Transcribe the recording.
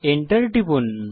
enter টিপুন